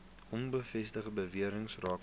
onbevestigde bewerings rakende